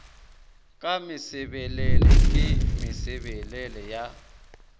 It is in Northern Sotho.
ka mesebelele ke mesebelele ya